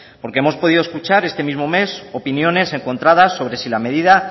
porque hemos podido escuchar este mismo mes opiniones encontradas sobre sí la medida